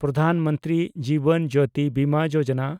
Pradhan Mantri Jeevan Jyoti Bima Yojana